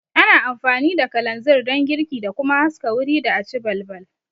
Ana amfani da kalanzir don girki da kuma haska wuri da aci balbal